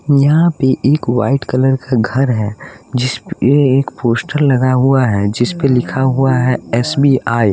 यहाँ पे एक व्हाइट कलर का घर है जिस पे एक पोस्टर लगा हुआ है जिस पे लिखा हुआ है एस_ बी_ आई ।